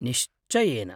निश्चयेन!